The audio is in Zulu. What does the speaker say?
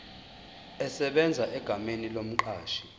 esebenza egameni lomqashi